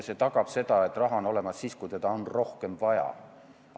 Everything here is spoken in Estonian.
See tagab selle, et raha on olemas, kui seda on rohkem vaja.